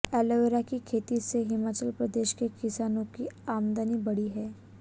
aloe vera की खेती से हिमाचल प्रदेश के किसानों की आमदनी बढ़ी है